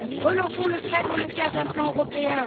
Relançons le fret dans le cadre d'un plan européen.